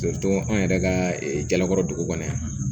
anw yɛrɛ ka jalakɔrɔbugu kɔni